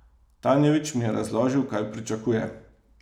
Tanjević mi je razložil, kaj pričakuje.